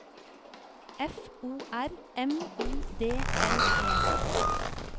F O R M I D L E